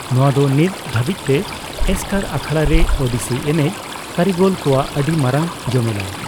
ᱱᱚᱣᱟ ᱫᱚ ᱱᱤᱛ ᱫᱷᱟᱹᱵᱤᱡᱽᱛᱮ ᱮᱥᱠᱟᱨ ᱟᱠᱷᱲᱟᱨᱮ ᱳᱲᱤᱥᱤ ᱮᱱᱮᱡ ᱠᱟᱹᱨᱤᱜᱚᱞ ᱠᱚᱣᱟᱜ ᱟᱹᱰᱤ ᱢᱟᱨᱟᱝ ᱡᱚᱢᱮᱞᱟᱭ ᱾